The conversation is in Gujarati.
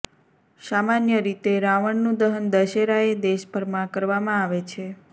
સામાન્ય રીતે રાવણનું દહન દશેરાએ દેશભરમાં કરવામાં આવે છે